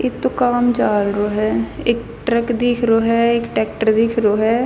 एक तो काला म चाल रो ह एक ट्रक दिख रो ह एक टेक्टर दिख रो ह.